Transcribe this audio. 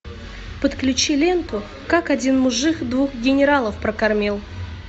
подключи ленту как один мужик двух генералов прокормил